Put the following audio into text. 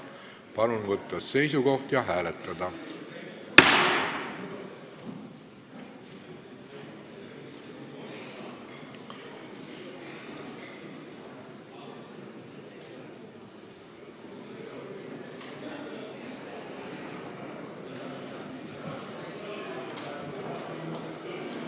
Palun võtta seisukoht ja hääletada!